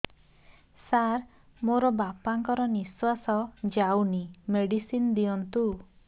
ସାର ମୋର ବାପା ଙ୍କର ନିଃଶ୍ବାସ ଯାଉନି ମେଡିସିନ ଦିଅନ୍ତୁ